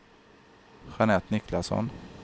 Jeanette Niklasson